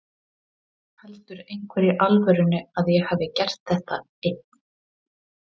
Heldur einhver í alvörunni að ég hafi gert þetta einn?